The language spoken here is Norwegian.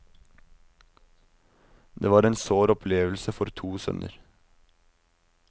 Det var en sår opplevelse for to sønner.